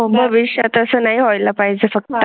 भविष्यात असं नाही व्हाय ला पाहिजे फक्त.